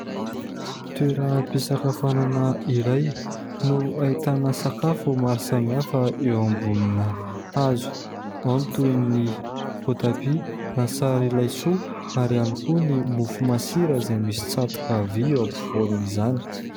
Toeram-pisakafanana iray no hahitana sakafo ho maro samy hafa eo ambony hazo ao ny toy ny voatabia , lasary laisoa , ary ao ihany koa ny mofo masira izay misy tsatoka vy eo ampoviny izany .